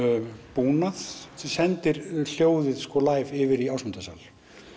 búnað sem sendir hljóðið live yfir í Ásmundarsal